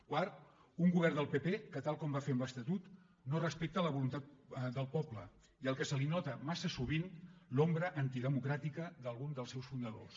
quart un govern del pp que tal com va fer amb l’estatut no respecta la voluntat del poble i al qual se li nota massa sovint l’ombra antidemocràtica d’algun dels seus fundadors